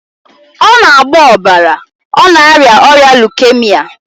Ọ na-agbọ ọbara, ọ na-arịa ọrịa leukemia